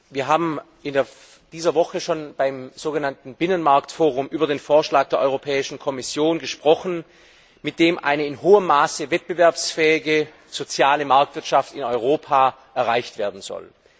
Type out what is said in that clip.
Wir haben in dieser Woche schon beim sogenannten Binnenmarkt Forum über den Vorschlag der Europäischen Kommission gesprochen, mit dem eine in hohem Maße wettbewerbsfähige soziale Marktwirtschaft in Europa erreicht werden soll.